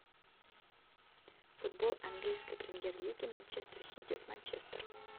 футбол английской премьер лиги манчестер сити с манчестером